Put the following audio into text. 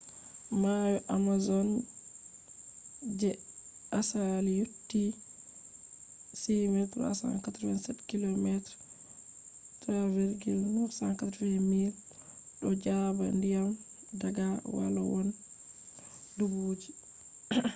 mayo amazon je asali yotti 6387km3,980 miles. do jaba ndiyam daga walowon dubuji